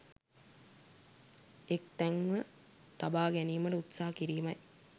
එක් තැන්ව තබා ගැනීමට උත්සාහ කිරීමයි.